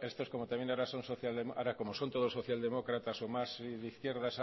particular como ahora todos son socialdemócratas o más de izquierdas